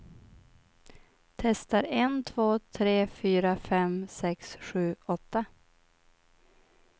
Testar en två tre fyra fem sex sju åtta.